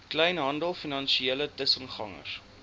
kleinhandel finansiële tussengangers